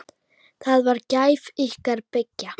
Það var gæfa ykkar beggja.